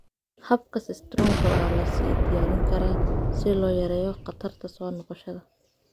Habka Sistrunka waa la sii diyaarin karaa si loo yareeyo khatarta soo noqoshada.